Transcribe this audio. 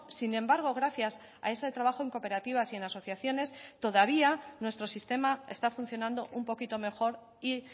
sin embargo gracias a ese trabajo en cooperativas y en asociaciones todavía nuestro sistema está funcionando un poquito mejor y